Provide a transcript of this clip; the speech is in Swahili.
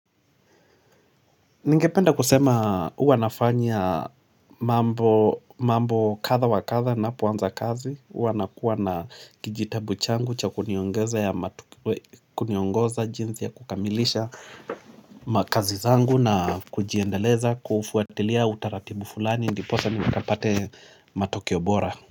Ningependa kusema huwa nafanya mambo kadha wa kadha ninapoanza kazi, huwa nakuwa na kijitabu changu cha kuniongoza jinsi ya kukamilisha makazi zangu na kujiendeleza, kuufuatilia utaratibu fulani ndiposa nikapate matokeo bora.